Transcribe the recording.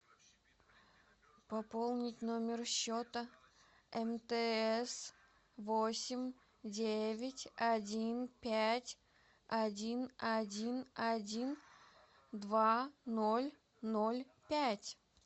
пополнить номер счета мтс восемь девять один пять один один один два ноль ноль пять